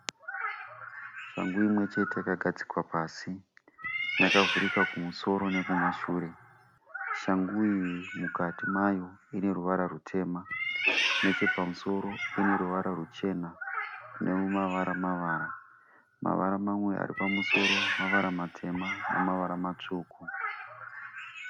Shangu imwechete yakagadzikwa pasi . Yakavhurika kumusoro nekumashure. Shangu iyi mukati mayo ineruvara rutema. Nechepamusoro uneruvara rwuchena nemavara mavara. Mavara mamwe aripamusoro mavara matema nemavara matsvuku.